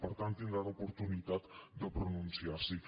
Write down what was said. per tant tindran oportunitat de pronunciar s’hi